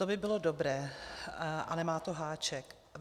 To by bylo dobré, ale má to háček.